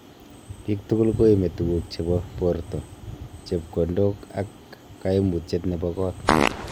biik tugul koiimi tuguk chebo borta, chepkondok ak kaayiimuutyet chebo koot